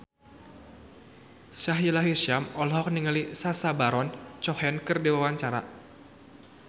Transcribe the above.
Sahila Hisyam olohok ningali Sacha Baron Cohen keur diwawancara